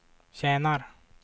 tjänar